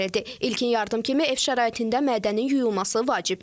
İlkin yardım kimi ev şəraitində mədənin yuyulması vacibdir.